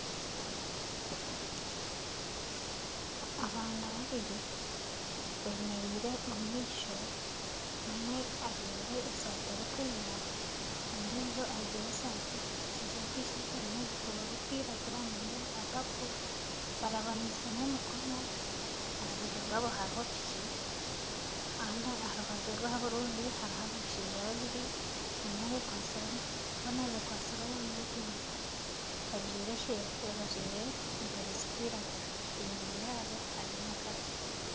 Abaana babiri bemereire omu maisho, omwe ajwaire esaati erikwera ,ondiijo ajwaire tishati erimu ebikuubo birikwiragura. nana ebya papo barabanisemu emikono. aha rubaju rwabo hariho piki, kandi aha rubaju rwabo orundi hariho abashaija babiri, boona bekwatsire omu nyugunyu, bajwaire empare zirikwiragura enyuma yaabo hariyo omukazi.